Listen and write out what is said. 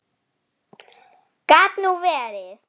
Gat nú verið!